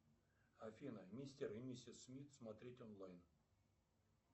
афина мистер и миссис смит смотреть онлайн